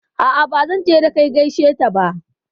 A'a bazan je da kai gaishe ta ba